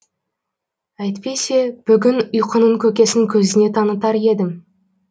әйтпесе бүгін ұйқының көкесін көзіне танытар едім